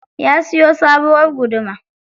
Ya siyo sabuwar guduma.